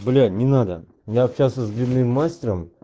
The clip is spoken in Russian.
блять не надо я общался с длинным монстром